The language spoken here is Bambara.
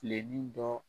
Filennin dɔ